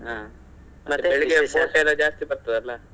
ಹಾ boat ಎಲ್ಲ ಜಾಸ್ತಿ ಬರ್ತದಲ್ಲ.